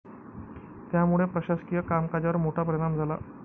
त्यामुळे प्रशासकीय कामकाजावर मोठा परिणाम झाला.